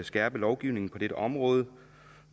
skærpe lovgivningen på dette område